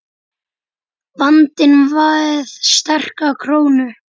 Vandinn við sterka krónu